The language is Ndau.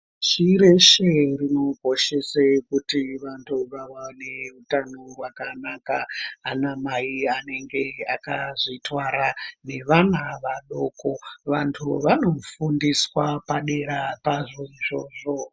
Pashi reshe rinokoshesa kuti vanhu vawane hutano hwakanaka ana mai anenge akazvitwara nevana vadoko vantu vanofundiswa padera pazvo izvozvo.